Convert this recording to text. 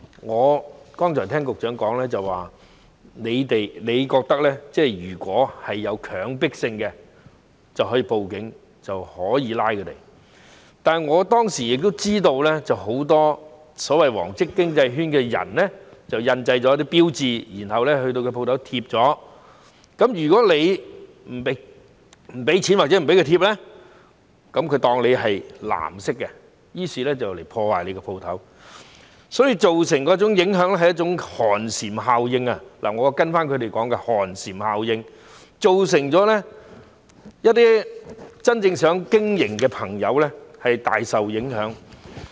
我剛才聽到局長說，你如果覺得有強迫性，便可以報警拘捕他們，但我當時也知道，很多所謂"黃色經濟圈"的人印製了一些標誌，然後前往店鋪張貼，如果你不給錢或不讓他們貼，便被當成是"藍色"，於是前來破壞商鋪，所以造成一種寒蟬效應——我是跟隨他們的說法，即寒蟬效應——造成一些真正想經營的朋友大受影響。